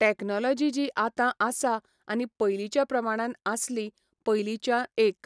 technology जी आतां आसा आनी पयलींच्या प्रमाणान आसली, पयलींच्या एक